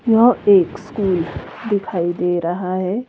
यह एक स्कूल दिखाई दे रहा है।